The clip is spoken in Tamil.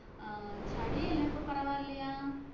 அஹ் சளியெல்லாம் இப்ப பரவாயில்லையா?